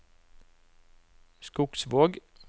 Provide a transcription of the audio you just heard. Skogsvåg